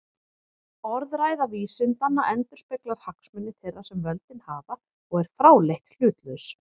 Orðræða vísindanna endurspeglar hagsmuni þeirra sem völdin hafa og er fráleitt hlutlaus.